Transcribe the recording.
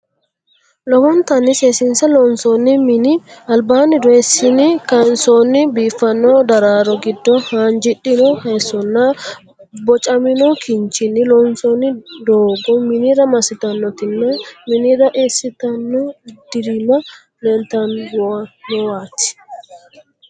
Lowontanni seesiinse loonsoonni mini albaanni dooyissini kaansoonni biiffanno daraaro giddo haanji'rino haayissonna bocamino kinchinni loonsoonni doogo minira massitannotinna minira eessitano dirimma leeltannowaati.